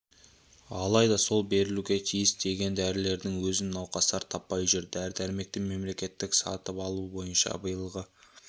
алайда сол берілуге тиісті деген дәрілердің өзін науқастар таппай жүр дәрі-дәрмекті мемлекеттік сатып алу бойынша биылғы